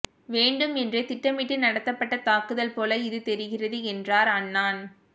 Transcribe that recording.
வேண்டும் என்றே திட்டமிட்டு நடத்தப்பட்ட தாக்குதல் போல இது தெரிகிறது என்றார் அன்னான்